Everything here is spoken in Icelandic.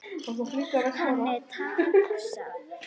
Hann er tapsár.